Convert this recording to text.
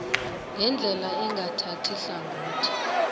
ngendlela engathathi hlangothi